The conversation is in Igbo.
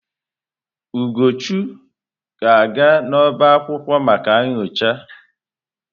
Ugochu ga-aga n'ọbá akwụkwọ maka nyocha.